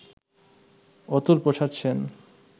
Atul Prasad Sen